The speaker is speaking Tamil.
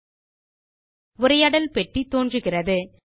ஒரு உரையாடல் பெட்டி தோன்றுகிறது